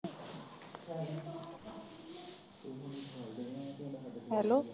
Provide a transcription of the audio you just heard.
hello